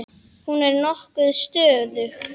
Hún er nokkuð stöðug.